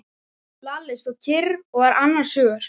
Lalli stóð kyrr og var annars hugar.